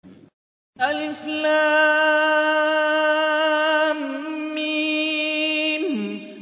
الم